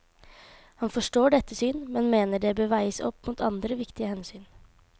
Han forstår dette syn, men mener det bør veies opp mot andre viktige hensyn.